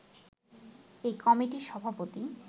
এই কমিটির সভাপতি